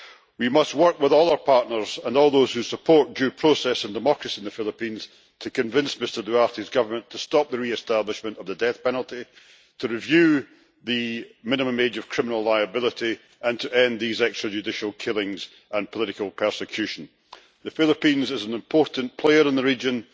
We must work with all our partners and all those who support due process and democracy in the Philippines to convince Mr Duterte's government to stop the re establishment of the death penalty, to review the minimum age of criminal liability, and to end these extrajudicial killings and political persecution. The Philippines is an important player in the region.